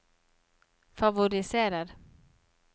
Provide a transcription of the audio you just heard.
favoriserer